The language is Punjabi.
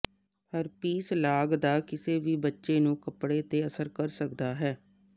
ਹਰਪੀਸ ਲਾਗ ਦਾ ਕਿਸੇ ਵੀ ਬੱਚੇ ਨੂੰ ਕੱਪੜੇ ਤੇ ਅਸਰ ਕਰ ਸਕਦਾ ਹੈ